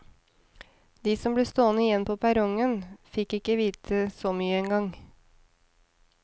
De som ble stående igjen på perrongen, fikk ikke vite så mye engang.